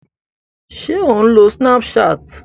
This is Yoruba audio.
Ṣé ò ń lo snapchat?